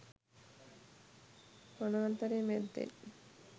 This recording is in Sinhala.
වනාන්තරය මැද්දෙන්